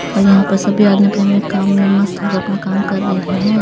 और यहां पर सभी आदमी अपने-अपने काम में मस्त होकर अपना काम कर रहे हैं।